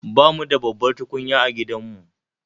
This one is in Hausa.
Bamu da babbar tukunya a gidanmu